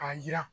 K'a jira